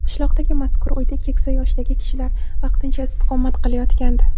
Qishloqdagi mazkur uyda keksa yoshdagi kishilar vaqtincha istiqomat qilayotgandi.